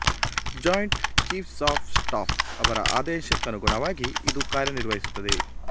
joint chiefs of staff ಅವರ ಆದೇಶಕ್ಕನುಗುಣವಾಗಿ ಇದು ಕಾರ್ಯ ನಿರ್ವಹ್ಸಿಸುತ್ತದೆ